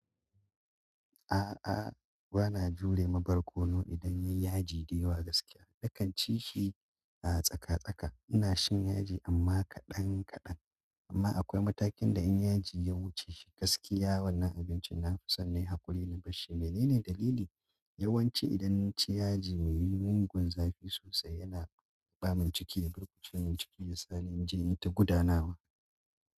A'a, bana jure ma barkono idan ya yi yaji da yawa gaskiya. Nakan ci shi a tsaka-tsaka. Ina shan yaji amma kaɗan-kaɗan. Amma akwai matakin da in yaji ya wuce shi gaskiya wannan abincin na fi son nayi haƙuri na basshi. Menene dalili? Yawanci idan naci yaji mai mugun zafi sosai yana ɓata min ciki. Ya burkuce min ciki ya sa ni in je in ta gudanawa.